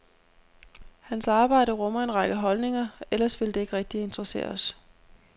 Hans arbejde rummer en række holdninger, ellers ville det ikke rigtig interessere os.